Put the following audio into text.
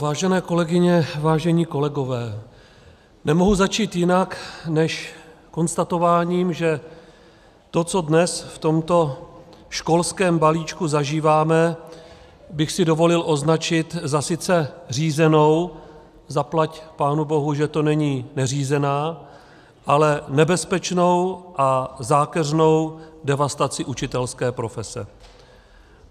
Vážené kolegyně, vážení kolegové, nemohu začít jinak než konstatováním, že to, co dnes v tomto školském balíčku zažíváme, bych si dovolil označit za sice řízenou, zaplať pánu bohu, že to není neřízená, ale nebezpečnou a zákeřnou devastaci učitelské profese.